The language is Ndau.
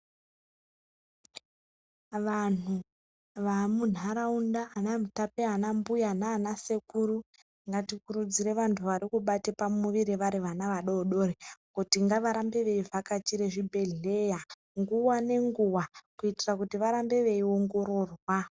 Vanhu vamunharaunda anamutape anambuya naana sekuru ngatikurudzire vantu varikubate pamuviri vari vana vadoodori kuti ngavarambe veivhakachire chibhehleya nguwa nenguwa kuitira kuti varambe veiongororwa.